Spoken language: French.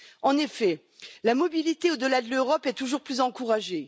En effet, la mobilité au delà de l'Europe est toujours plus encouragée.